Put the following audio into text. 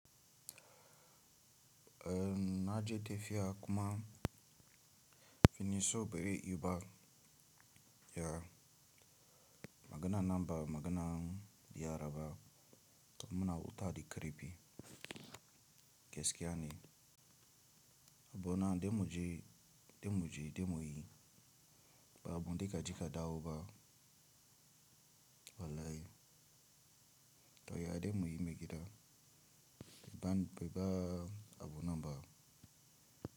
Eh na je tafiya kuma finisho bari iba ya maganan nan ba maganan yara ba kamuna wuta da krepi gaskiya ne. Abu na damuji, damuji, damuyi ba abun da ka jika dawo ba. Wallahi to ya damuyi maigida bai ba abu nan ba.